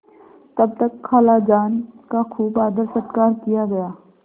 तब तक खालाजान का खूब आदरसत्कार किया गया